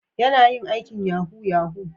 Yana yin aikin yahoo -yahoo?